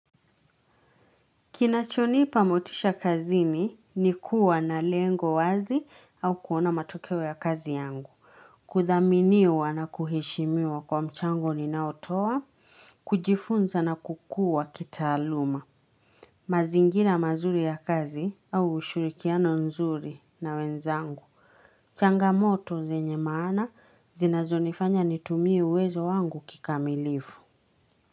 Kinachonipa motisha kazini ni kuwa na lengo wazi au kuona matokewe ya kazi yangu. Kuthaminiwa na kuheshimiwa kwa mchango ninaotowa, kujifunza na kukuwa kitaaluma. Mazingina mazuri ya kazi au ushurikiano nzuri na wenzangu. Changamoto zenye maana zinazonifanya nitumie uwezo wangu kikamilifu.